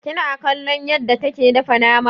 Kina kallon yadda take dafa nama?